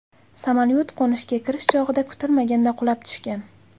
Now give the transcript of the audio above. Samolyot qo‘nishga kirish chog‘ida kutilmaganda qulab tushgan.